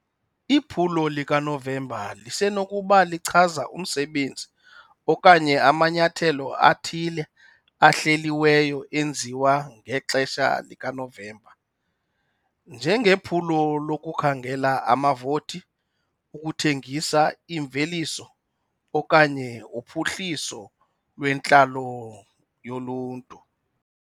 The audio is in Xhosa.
Iphulo likaNovemba lisenokuba lichaza umsebenzi okanye amanyathelo athile ahleliweyo enziwa ngexesha likaNovemba njengephulo lokukhangela amavoti, ukuthengisa imveliso okanye uphuhliso lwentlalo yoluntu.